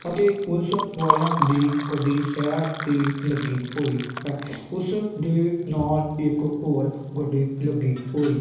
ਅਤੇ ਪੁਲਿਸ ਵਾਲਿਆਂ ਦੀ ਗੱਡੀ ਸੈਡ ਤੇ ਲੱਗੀ ਹੋਈ ਹੈ। ਉਸ ਦੇ ਨਾਲ ਇੱਕ ਹੋਰ ਗੱਡੀ ਲੱਗੀ ਹੋਈ --